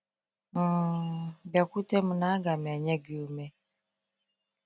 um Biakwute mụ na aga m enye gị ume.